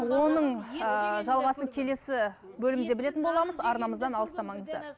оның ыыы жалғасын келесі бөлімде білетін боламыз арнамыздан алыстамаңыздар